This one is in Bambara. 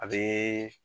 A bɛ